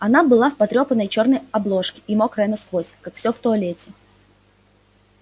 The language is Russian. она была в потрёпанной чёрной обложке и мокрая насквозь как всё в туалете